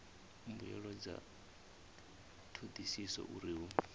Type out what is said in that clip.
mbuelo dza thodisiso uri hu